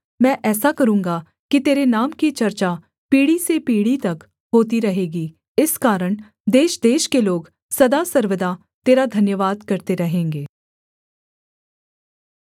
मैं ऐसा करूँगा कि तेरे नाम की चर्चा पीढ़ी से पीढ़ी तक होती रहेगी इस कारण देशदेश के लोग सदा सर्वदा तेरा धन्यवाद करते रहेंगे